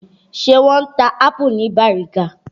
Ṣé wọ́n ń ta ápù ní Bàrígá?